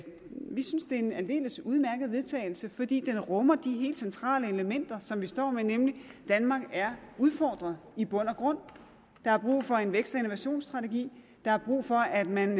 vi synes det er en aldeles udmærket vedtagelse fordi den rummer de helt centrale elementer som vi står med nemlig at danmark er udfordret i bund og grund der er brug for en vækst og innovationsstrategi der er brug for at man